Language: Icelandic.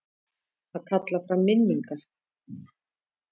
Að kalla fram minningar